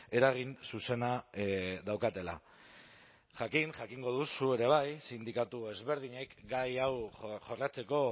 eragin zuzena daukatela jakin jakingo duzu ere bai sindikatu ezberdinek gai hau jorratzeko